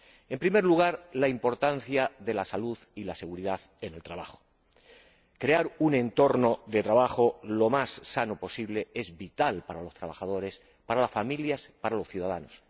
En primer lugar, la importancia de la salud y la seguridad en el trabajo crear un entorno de trabajo lo más sano posible es vital para los trabajadores, para las familias, para los ciudadanos.